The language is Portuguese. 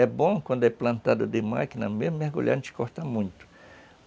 É bom quando é plantado de máquina mesmo, mergulhar não te corta muito.